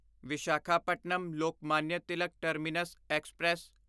Visakhapatnam Lokmanya Tilak terminus express